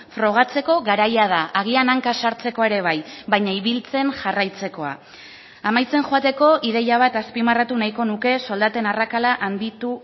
frogatzeko garaia da agian hanka sartzekoa ere bai baina ibiltzen jarraitzekoa amaitzen joateko ideia bat azpimarratu nahiko nuke soldaten arrakala handitu